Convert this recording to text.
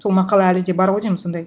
сол мақала әлі де бар ғой деймін сондай